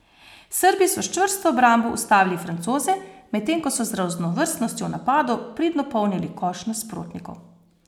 Srbi so s čvrsto obrambo ustavili Francoze, medtem ko so z raznovrstnostjo v napadu pridno polnili koš nasprotnikov.